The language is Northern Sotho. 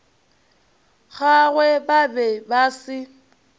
gagwe ba be ba se